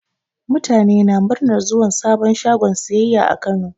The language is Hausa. Mutane na muranar zuwan sabon shagon siyayya a Kano.